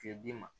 Fiye d'i ma